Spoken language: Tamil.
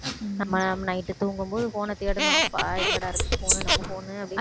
நம்ம night தூங்கும்போது phone அ தேடணும் அப்பா எங்கடா இருக்கு phone நம்ம phone அப்படின்னு